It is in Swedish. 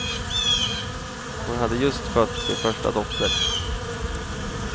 Hon hade just fött sin första dotter.